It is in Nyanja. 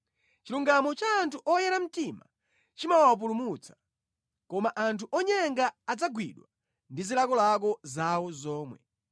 Chilungamo cha anthu oyera mtima chimawapulumutsa, koma anthu onyenga adzagwidwa ndi zilakolako zawo zomwe.